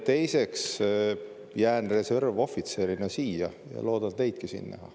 Teiseks, jään reservohvitserina siia ja loodan teidki siin näha.